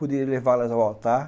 Poder levá-las ao altar.